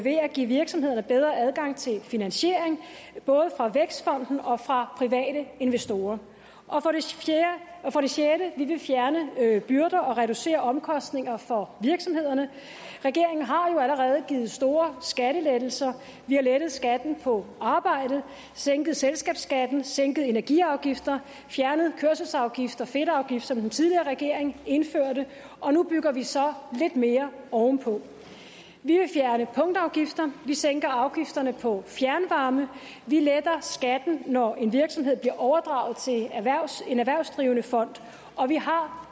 give virksomhederne bedre adgang til finansiering både fra vækstfonden og fra private investorer for det sjette vil vi fjerne byrder og reducere omkostninger for virksomhederne regeringen har jo allerede givet store skattelettelser vi har lettet skatten på arbejde sænket selskabsskatten sænket energiafgifter fjernet kørselsafgifter fedtafgiften som den tidligere regering indførte og nu bygger vi så lidt mere ovenpå vi vil fjerne punktafgifter vi sænker afgifterne på fjernvarme vi letter skatten når en virksomhed bliver overdraget til en erhvervsdrivende fond og vi har